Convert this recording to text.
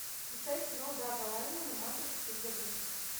включай кино дага лаймана матрица перезагрузка